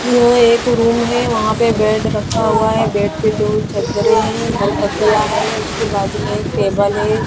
यो एक रूम है वहां पे बेड रखा हुआ है बेड के दो चद्दर है दो तकिया है उसके बाजू मे एक टेबल है।